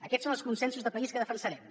aquests són els consensos de país que defensarem